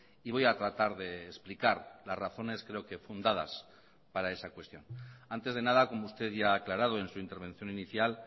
y voy a tratar de explicar las razones creo que fundadas para esa cuestión antes de nada como usted ya ha aclarado en su intervención inicial